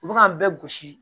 U bɛ k'an bɛɛ gosi